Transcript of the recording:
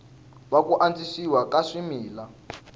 wa ku antswisiwa ka swimila